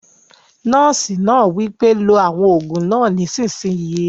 Nọ́ọ̀sì náà wí pé "lo àwọn òògùn náà nísìsiyìí!"